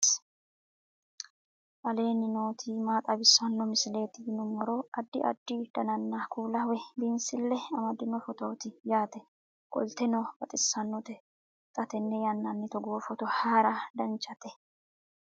aleenni nooti maa xawisanno misileeti yinummoro addi addi dananna kuula woy biinsille amaddino footooti yaate qoltenno baxissannote xa tenne yannanni togoo footo haara danvchate